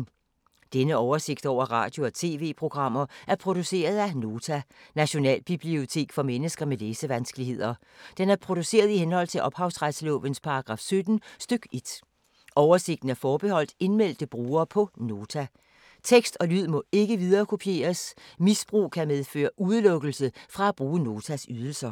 Denne oversigt over radio og TV-programmer er produceret af Nota, Nationalbibliotek for mennesker med læsevanskeligheder. Den er produceret i henhold til ophavsretslovens paragraf 17 stk. 1. Oversigten er forbeholdt indmeldte brugere på Nota. Tekst og lyd må ikke viderekopieres. Misbrug kan medføre udelukkelse fra at bruge Notas ydelser.